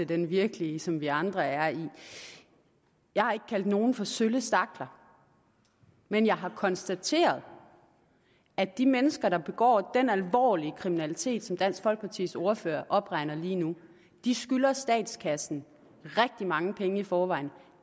den virkelige som vi andre er i jeg har ikke kaldt nogen for sølle stakler men jeg har konstateret at de mennesker der begår den alvorlige kriminalitet som dansk folkepartis ordfører opregner lige nu skylder statskassen rigtig mange penge i forvejen